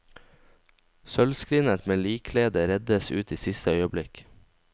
Sølvskrinet med likkledet reddes ut i siste øyeblikk.